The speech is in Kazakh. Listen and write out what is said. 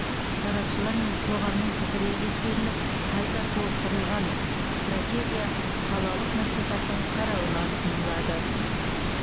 сарапшылар мен қоғамның пікірі ескеріліп қайта толықтырылған стратегия қалалық мәслихаттың қарауына ұсынылады